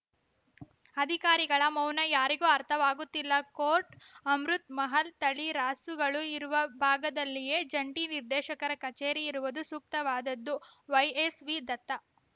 ಅಧಿಕಾರಿಗಳ ಮೌನ ಯಾರಿಗೂ ಅರ್ಥವಾಗುತ್ತಿಲ್ಲ ಕೋರ್ಟ್ ಅಮೃತ್‌ ಮಹಲ್‌ ತಳಿ ರಾಸುಗಳು ಇರುವ ಭಾಗದಲ್ಲಿಯೇ ಜಂಟಿ ನಿರ್ದೇಶಕರ ಕಚೇರಿ ಇರುವುದು ಸೂಕ್ತವಾದದ್ದು ವೈಎಸ್‌ವಿ ದತ್ತ